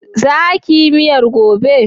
Za ki yi miyar gobe?